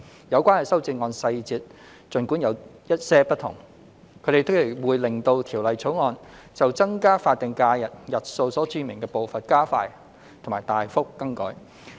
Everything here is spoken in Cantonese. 有關的修正案細節儘管有些不同，但全部皆會令《2021年僱傭條例草案》就增加法定假日日數所註明的步伐加快及大幅更改。